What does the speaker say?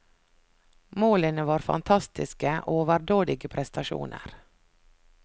Målene var fantastiske, overdådige prestasjoner.